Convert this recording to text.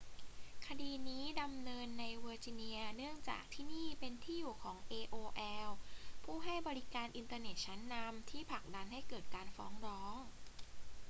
คดีนี้ดำเนินในเวอร์จิเนียเนื่องจากที่นี่เป็นที่อยู่ของ aol ผู้ให้บริการอินเทอร์เน็ตชั้นนำที่ผลักดันให้เกิดการฟ้องร้อง